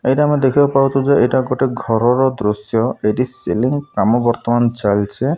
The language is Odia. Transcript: ଏଇଠି ଆମେ ଦେଖିବାକୁ ପାଉଛୁ ଯେ ଏଇଟା ଗୋଟେ ଘରର ଦୃଶ୍ୟ ଏଠିି ସିଲିଂ କାମ ବର୍ତ୍ତମାନ ଚାଲ୍ ଚି।